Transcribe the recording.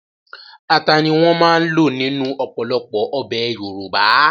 Ata ni wọ́n máa ń lò nínú ọ̀pọ̀lọpọ̀ ọbẹ̀ Yorùbá